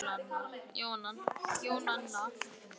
Þú stendur þig vel, Jónanna!